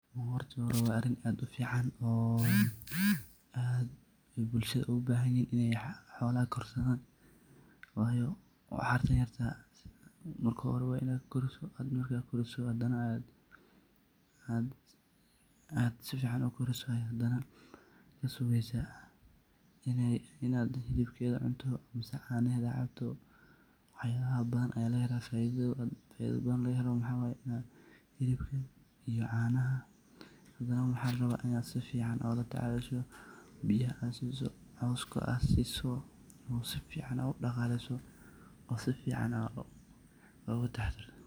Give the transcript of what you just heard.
Marki hori wa arin aad ufican, aad bulshada ugu bathanyahin Ina xolaha korsadan, wayi waxartabyarda marki hori Ina korisoh handanah aad sufican u korisoh, waxkasugeysah Ina helibketha cuntoh canahetha cabtoh waxyabaha bathan Aya leethahay faitha bathan waxaye helibka iyo canaha handa waxlarabahbina sufican ulatacashoh biyaha AA sisoh coska AA sisoh sufican udaqaleysoh oo sufan UGA taxadartoh.